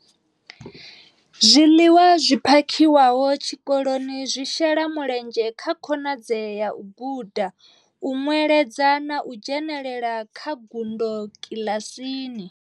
Zwiḽiwa zwi phakhiwaho tshikoloni zwi shela mulenzhe kha khonadzeo ya u guda, u nweledza na u dzhenela kha ngudo kiḽasini.